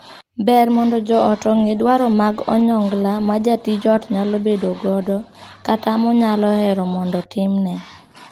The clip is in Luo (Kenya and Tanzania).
Ber mondo joot ong'e dwaro mag onyongla ma jatij ot nyalo bedo godo, kata monyalo hero mondo timne.